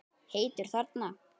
Heitur þarna.